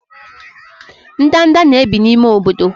ndanda na-ebi n'ime obodo.